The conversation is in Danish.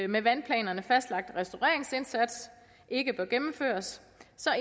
med vandplanerne fastlagt restaureringsindsats ikke bør gennemføres